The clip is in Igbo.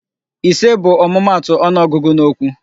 Ise bụ ọmụmaatụ ọnụọgụgụ n'okwu.